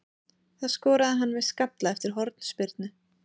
Það skoraði hann með skalla eftir hornspyrnu.